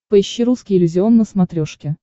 поищи русский иллюзион на смотрешке